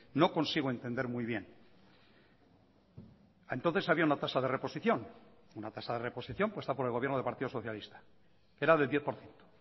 no consigo entender muy bien entonces había una tasa de reposición una tasa de reposición puesta por el gobierno del partido socialista era del diez por ciento